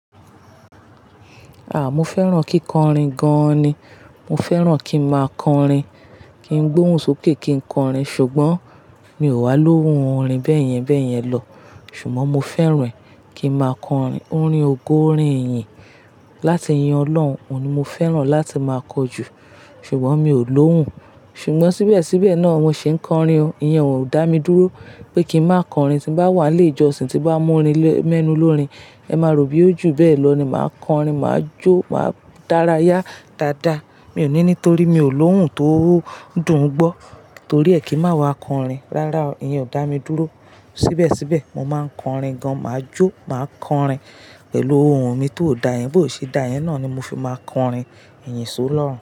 Ah! Mo fẹ́ràn kíkọrin gan ni, mo fẹ́ràn kí n má a kọrin, kí n gbóhùn sókè kí n kọrin. Ṣùgbọ́n mi ò wá lóhùn orin bẹ́ẹ̀yẹn bẹ́ẹ̀yẹn lọ, ṣùgbọ́n mo fẹ́ràn kí n má a kọrin. Orin ògo, orin ìyìn, láti yin Ọlọ́run, òun ni mo fẹ́ràn láti má a kọ jù, ṣùgbọ́n mi ò lóhùn. Ṣùgbọ́n síbẹ̀ síbẹ̀ náà mo ṣe ń kọrin o, ìyẹn ò dá mi dúró pé kí n má kọrin. Tí bá wà léjọ́sin tí bá mú orin lẹ́, mẹ́nu lórin, ẹ má ro bí ó jù bẹ́ẹ̀ lọ ni, màá kọrin, màá jó, màá dárayá dáadáa. Mi ò ní nítorí mi ò lóhùn tó dùn gbọ́. Torí ẹ kì má wa kọrin. Rárá o, ìyẹn ò dá mi dúró. Síbẹ̀ síbẹ̀ mo máa ń kọrin gan. Màá jó, màá kọrin pẹ̀lú ohùn mi tó dà ẹ́, bó ti ṣe dà ẹ́ náà ni mo fi máa kọrin, ìyìn só lọ́run.